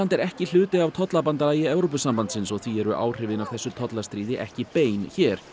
er ekki hluti af tollabandalagi Evrópusambandsins og því eru áhrifin af þessu tollastríði ekki bein hér